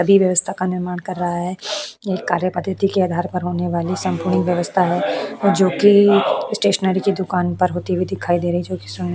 सभी व्यवस्था का निर्माण कर रहे है एक कार्य पातिथि के आधार पर होने वाली संपुडिक व्यवस्था है जोकि स्टेशनरी के दुकान पर होती हुई दिखाई दे रही है जोकि --